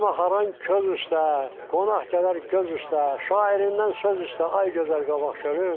Saz maxaram köz üstə, qonaq gələr göz üstə, şairindən söz üstə, ay gözəl Qabaqçölüm.